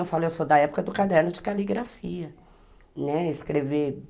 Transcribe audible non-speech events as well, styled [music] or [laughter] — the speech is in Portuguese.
Eu falo, eu sou da época do caderno de caligrafia, [unintelligible] escrever